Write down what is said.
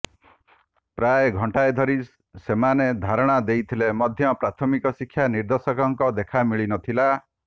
ପ୍ରାୟ ଘଣ୍ଟାଏ ଧରି ସେମାନେ ଧାରଣା ଦେଇଥିଲେ ମଧ୍ୟ ପ୍ରାଥମିକ ଶିକ୍ଷା ନିର୍ଦେଶକଙ୍କ ଦେଖା ମିଳିନଥିଲା